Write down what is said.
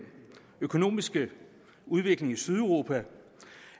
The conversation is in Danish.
økonomiske udvikling i sydeuropa